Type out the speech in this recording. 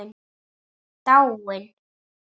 Dáin?